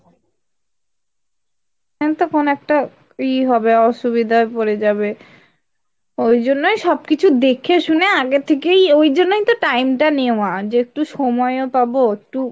হ্যাঁ তখন একটা ই হবে অসুবিধায় পরে যাবে। ওই জন্যই সব কিছু দেখে শুনে আগে থেকেই তো ওই জন্যই তো time টা নেওয়া, যে একটু সময় ও পাবো একটু